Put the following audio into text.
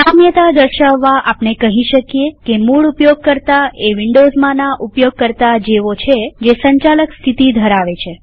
સામ્યતા દર્શાવવા આપણે કહી શકીએ કે મૂળ ઉપયોગકર્તા એ વિન્ડોવ્ઝમાંના ઉપયોગકર્તા જેવું છે જે સંચાલક સ્થિતિ ધરાવે છે